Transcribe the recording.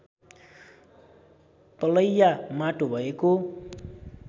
तलैया माटो भएको